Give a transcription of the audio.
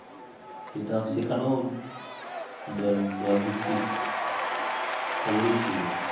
সেটা সেখানেও দল দলভিত্তিক খবরই ছিল